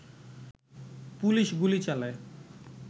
police গুলি চালায়